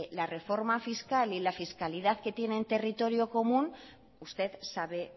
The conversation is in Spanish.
la reforma fiscal y en la fiscalidad que tienen territorio común usted sabe